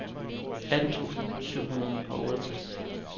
atten tusind syv hundrede og otteogtres